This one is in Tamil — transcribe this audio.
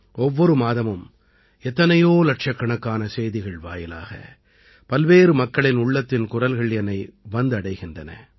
ஒவ்வொரு மாதமும் எத்தனையோ இலட்சக்கணக்கான செய்திகள் வாயிலாக பல்வேறு மக்களின் உள்ளத்தின் குரல்கள் என்னை வந்தடைகின்றன